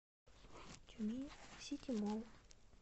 тюмень сити молл